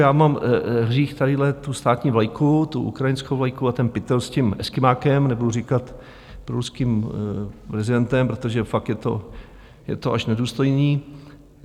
Já mám hřích tadyhle tu státní vlajku, tu ukrajinskou vlajku a ten pytel s tím Eskymákem, nebudu říkat ruským prezidentem, protože fakt je to až nedůstojné.